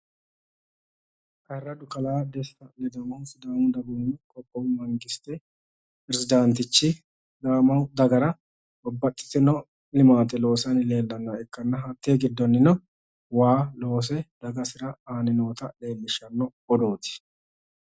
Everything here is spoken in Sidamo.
Ayiiradu kalaa Desta Ledamohu Sidaamu dagoomu qoqqowu mangiste pirezidaantichi sidaamu dagara babbaxitino limaate loosanni leellannoha ikkanna hattee giddonnino waa loose dagasira aanni noota leellishshanno odooti.